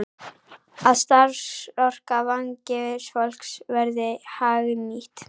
Að starfsorka vangefins fólks verði hagnýtt.